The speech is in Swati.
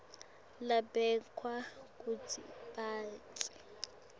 lababekwe kutsi baphatse